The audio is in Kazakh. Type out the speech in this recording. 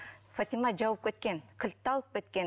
фатима жауып кеткен кілтті алып кеткен